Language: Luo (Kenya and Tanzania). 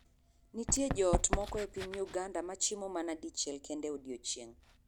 Nitie joot moko e piny Uganda ma chiemo mana dichiel kende e odiechieng'.